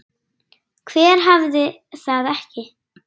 Hver hafði það ekki?